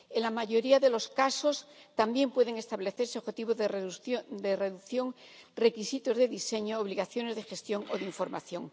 En la mayoría de los casos, también pueden establecerse objetivos de reducción, requisitos de diseño, obligaciones de gestión o de información.